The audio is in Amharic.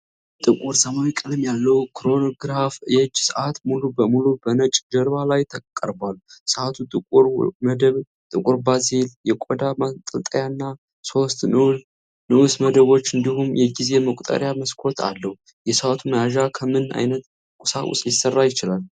ጥቁር ሰማያዊ ቀለም ያለው ክሮኖግራፍ የእጅ ሰዓት ሙሉ በሙሉ በነጭ ጀርባ ላይ ቀርቧል። ሰዓቱ ጥቁር መደብ፣ ጥቁር ባዜል፣ የቆዳ ማንጠልጠያ እና ሶስት ንዑስ መደቦች እንዲሁም የጊዜ መቁጠሪያ መስኮት አለው። የሰዓቱ መያዣ ከምን ዓይነት ቁሳቁስ ሊሰራ ይችላል?